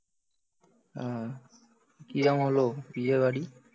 কিরম হল বিয়েবাড়ি?